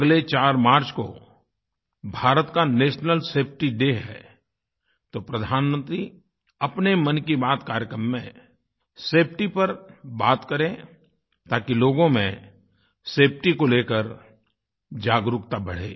अगले 4 मार्च को भारत का नेशनल सेफटी डे है तो प्रधानमंत्री अपने मन की बात कार्यक्रम में सेफटी पर बात करें ताकि लोगों में सेफटी को लेकर जागरूकता बढ़े